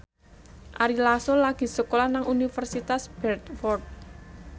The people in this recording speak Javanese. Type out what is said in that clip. Ari Lasso lagi sekolah nang Universitas Bradford